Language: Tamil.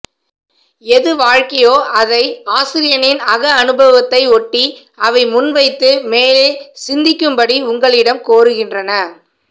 எது வாழ்க்கையோ அதை ஆசிரியனின் அக அனுபவத்தை ஒட்டி அவை முன்வைத்து மேலே சிந்திக்கும்படி உங்களிடம் கோருகின்றன